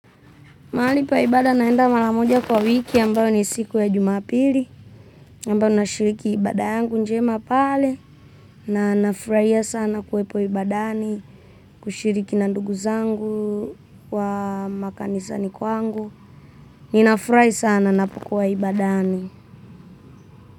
Mahali pa ibada naenda mara moja kwa wiki ambayo ni siku ya Jumapili. Ambayo nashiriki ibada yangu njema pale, na nafurahia sana kuwepo ibadani, kushiriki na ndugu zangu wa makanisani kwangu. Ninafurahi sana napokuwa ibadani.